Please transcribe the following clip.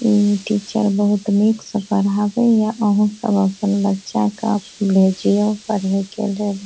इ टीचर बहुत निक से पढ़ावे या आहां सब अपन बच्चा के भेज यो पढ़े के लेल।